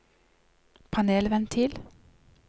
panelventil